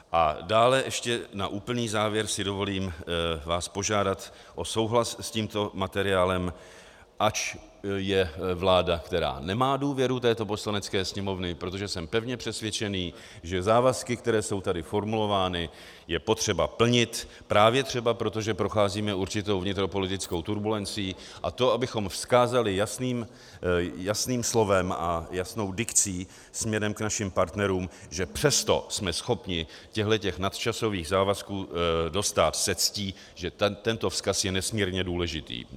A dále ještě na úplný závěr si dovolím vás požádat o souhlas s tímto materiálem, ač je vláda, která nemá důvěru této Poslanecké sněmovny, protože jsem pevně přesvědčený, že závazky, které jsou tady formulovány, je potřeba plnit právě třeba proto, že procházíme určitou vnitropolitickou turbulencí, a to, abychom vzkázali jasným slovem a jasnou dikcí směrem k našim partnerům, že přesto jsme schopni těchto nadčasových závazků dostát se ctí, že tento vzkaz je nesmírně důležitý.